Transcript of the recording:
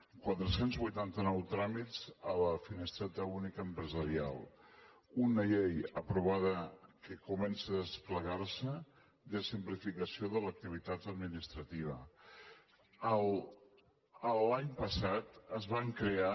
quatre cents vuitanta nou tràmits a la finestreta única empresarial una llei aprovada que comença a desplegar se de simplificació de l’activitat administrativa l’any passat es van crear